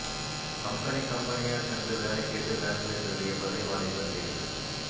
company கம்பெனியா சென்று வேலை கேட்டு வேன்களை திருடிய பலே வாலிபர் கைது